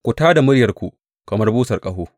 Ku tā da muryarku kamar busar ƙaho.